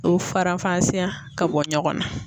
O farafansiya ka bɔ ɲɔgɔn na.